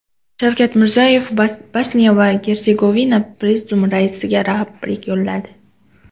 Shavkat Mirziyoyev Bosniya va Gersegovina prezidiumi raisiga tabrik yo‘lladi.